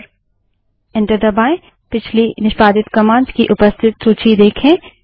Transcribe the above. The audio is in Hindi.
और एंटर दबायें पिछली निष्पादित कमांड्स की उपस्थित सूची देखें